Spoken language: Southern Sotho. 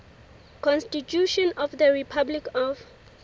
constitution of the republic of